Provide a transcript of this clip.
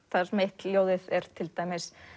þar sem eitt ljóðið er til dæmis